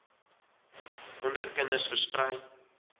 onder kinders versprei